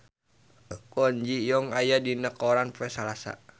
Kwon Ji Yong aya dina koran poe Salasa